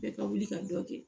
Bɛɛ ka wuli ka dɔ kɛ